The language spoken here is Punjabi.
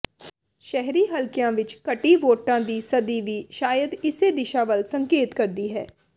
ਸ਼ਹਿਰੀ ਹਲਕਿਆਂ ਵਿਚ ਘਟੀ ਵੋਟਾਂ ਫ਼ੀ ਸਦੀ ਵੀ ਸ਼ਾਇਦ ਇਸੇ ਦਿਸ਼ਾ ਵੱਲ ਸੰਕੇਤ ਕਰਦੀ ਹੈ